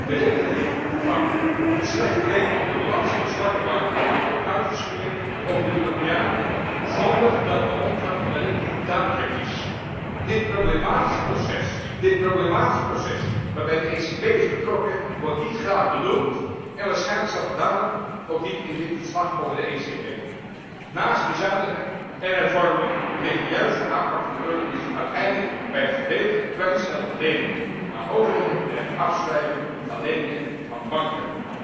De rekening van de slechte leningen op de balansen van zwakke banken wordt uitgesmeerd over de Europeanen, zonder dat de omvang van de rekening duidelijk is. Dit problematische proces waarbij de ECB is betrokken, wordt niet graag benoemd, en waarschijnlijk staat het daarom ook niet in dit verslag over de ECB. Naast bezuinigen en hervormen ligt de juiste aanpak van de eurocrisis uiteindelijk bij het gedeeltelijk kwijtschelden van leningen aan overheden en het afschrijven van leningen van banken.